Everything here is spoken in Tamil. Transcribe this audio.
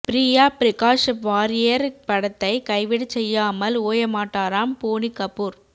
ப்ரியா பிரகாஷ் வாரியர் படத்தை கைவிடச் செய்யாமல் ஓய மாட்டாராம் போனி கபூர்